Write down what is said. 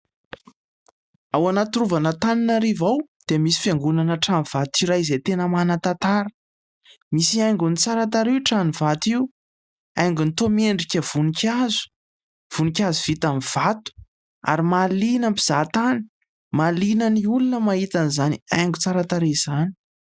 ao anaty rova no hahitana an'ireo dia misy fiangonana trano vato iray izay tena manan-tantara misy haingon'ny tsara ireo trany vato io haingony miendrika voninkazo vita amin'ny vato ary mahaliana mpizahantany mahaliana ny olona mahita ny izany haingo tsaratsara izany